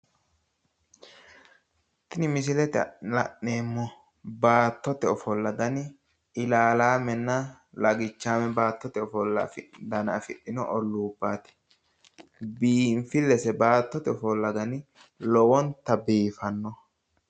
Tini misilete aana la’neemo baattote ofolla dani ilaalaamenna lagichaame baattote ofolla iikitaata afidhino olluubaati. Biinfillese baattote ofolla dani lowonta biifanno.